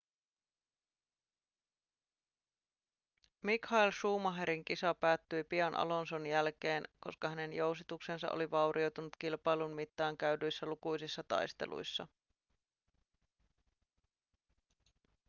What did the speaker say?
michael schumacherin kisa päättyi pian alonson jälkeen koska hänen jousituksensa oli vaurioitunut kilpailun mittaan käydyissä lukuisissa taisteluissa